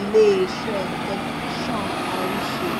iléeṣẹ tẹlifíṣàn àrísè